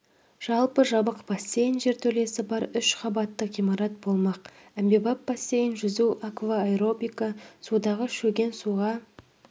жалпы жабық бассейн жертөлесі бар үш қабатты ғимарат болмақ әмбебап бассейн жүзу аквааэробика судағы шөген суға